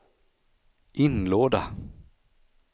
inlåda